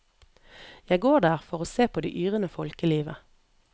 Jeg går der for å se på det yrende folkelivet.